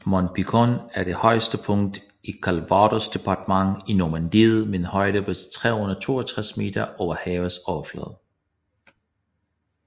Mont Pinçon er det højeste punkt i Calvados departementet i Normandiet med en højde på 362 meter over havets overflade